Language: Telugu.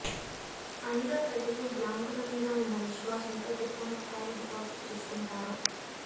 అయినా ప్రజలు బ్యాంకులమీద ఉన్న విశ్వాసంతో పెద్ద మొత్తాలు డిపాజిట్ చేస్తుంటారు